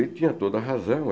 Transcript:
Ele tinha toda razão.